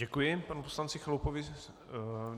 Děkuji panu poslanci Chalupovi.